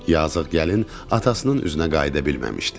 Yazıq gəlin atasının üzünə qayıda bilməmişdi.